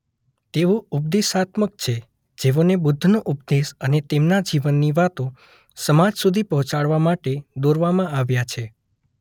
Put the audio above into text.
તેઓ ઉપદેશાત્મક છેૢ જેઓને બુદ્ધનો ઉપદેશ અને તેમના જીવનની વાતો સમાજ સુધી પહોંચાડવા માટે દોરવામાં આવ્યા છે.